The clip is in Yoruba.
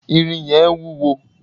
irin yẹn wúwo